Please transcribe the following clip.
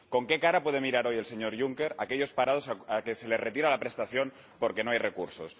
¿Con qué cara puede mirar hoy el señor Juncker a aquellos parados a los que se les retira la prestación porque no hay recursos?